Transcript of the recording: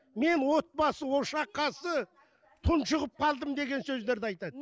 мен отбасы ошақ қасы тұншығып қалдым деген сөздерді айтады